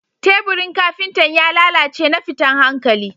Teburin Kafintan ya lallace na fitan hankalli